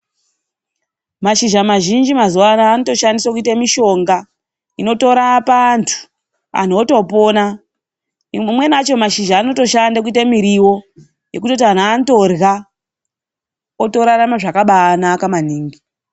Mashizha mazhinji mazuva ano anotoshandiswe kuite mitombo inotorapa antu. Antu otopona. Mamweni acho mashizha aotoshande kuite miriwo, yekutoti antu anotorya, otorarame zvakabaanaka maningi.